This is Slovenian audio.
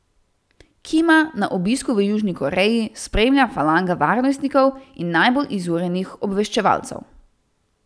Kima na obisku v Južni Koreji spremlja falanga varnostnikov in najbolj izurjenih obveščevalcev.